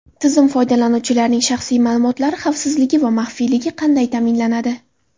Tizim foydalanuvchilarining shaxsiy ma’lumotlari xavfsizligi va maxfiyligi qanday ta’minlanadi?